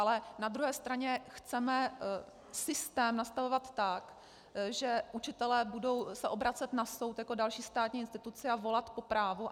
Ale na druhé straně chceme systém nastavovat tak, že učitelé budou se obracet na soud jako další státní instituci a volat po právu?